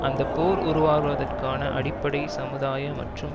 அந்த போர் உருவாவதற்கான அடிப்படை சமுதாய மற்றும்